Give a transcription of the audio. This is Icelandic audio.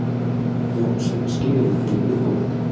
Jón setur skilyrði fyrir viðbótinni